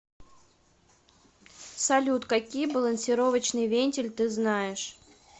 салют какие балансировочный вентиль ты знаешь